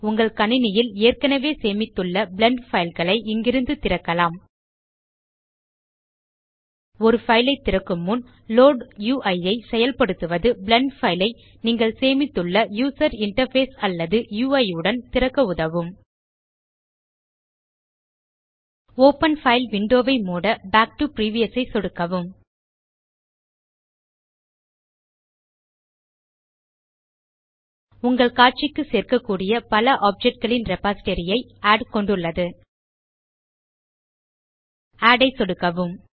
உங்கள் கணினியில் ஏற்கனவே சேமித்துள்ள பிளெண்ட் பைல் ஐ இங்கிருந்து திறக்கலாம் ஒரு பைல் ஐ திறக்கும் முன் லோட் உய் ஐ செயல்படுத்துவது பிளெண்ட் பைல் ஐ நீங்கள் சேமித்துள்ள யூசர் இன்டர்ஃபேஸ் அல்லது உய் உடன் திறக்க உதவும் ஒப்பன் பைல் விண்டோ ஐ மூட பாக் டோ பிரிவியஸ் ஐ சொடுக்கவும் உங்கள் காட்சிக்கு சேர்க்ககூடிய பல ஆப்ஜெக்ட் களின் ரிப்பாசிட்டரி ஐ ஆட் கொண்டுள்ளது ஆட் ஐ சொடுக்குக